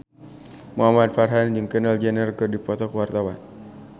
Muhamad Farhan jeung Kendall Jenner keur dipoto ku wartawan